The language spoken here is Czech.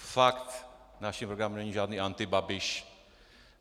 Fakt naším programem není žádný antibabiš.